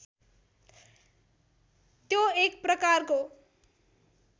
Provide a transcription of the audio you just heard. त्यो एक प्रकारको